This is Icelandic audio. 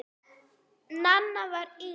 Nanna var yngst.